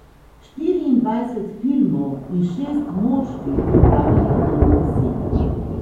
Štiriindvajset filmov in šest moških v pravem pomenu besede.